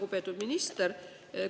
Lugupeetud minister!